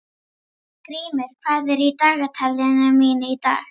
Grímur, hvað er í dagatalinu mínu í dag?